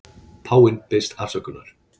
Páfi biðst afsökunar